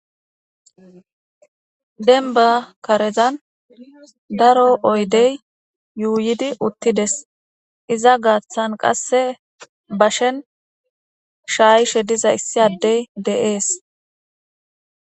denba karezan daro oydey yuuyidi uttides , iza gaaththan qasse bashen shaayishe diza issi addey de'es